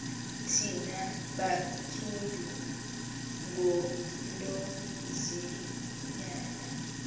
thina bantsundu ngunonzinyana